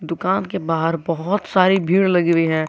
दुकान के बाहर बहुत सारी भीड़ लगी हुई है।